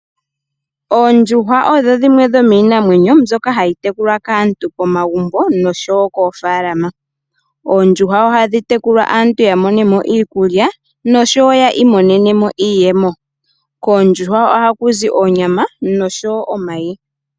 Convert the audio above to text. Oondjuhwa odho dhimwe dhomiinamwenyo mbyoka hayi tekulwa kaantu pomagumbo noshowo koofaalama. Oondjuhwa ohadhi tekulwa aantu yamone mo iikulya noshowo yiimonene mo iiyemo. Kondjuhwa ohaku zi onyama noshowo omayi.